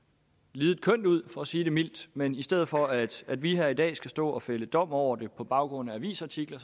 lidet kønt ud for at sige det mildt men i stedet for at at vi her i dag skal stå og fælde dom over det på baggrund af avisartikler